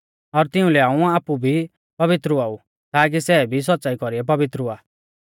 और तिउंलै हाऊं आपु भी पवित्र हुआ ऊ ताकी सै भी सौच़्च़ाई कौरीऐ पवित्र हुआ